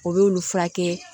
O y'olu furakɛ